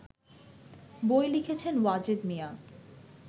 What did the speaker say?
বই লিখেছেন ওয়াজেদ মিয়া